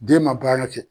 Den ma baara kɛ